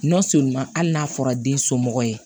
hali n'a fɔra den somɔgɔ ye